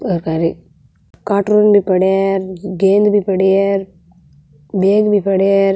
और काई रे कार्टून भी पड़े है गेंद भी पड़ी है बेग भी पड़े है।